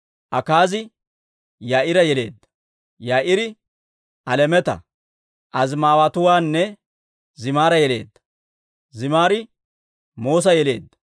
Akaazi Yaa'iira yeleedda. Yaa'iiri Alemeeta, Azimaaweetuwaanne Zimira yeleedda. Zimiri Moos'a yeleedda;